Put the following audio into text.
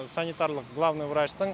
санитарлық главный врачтың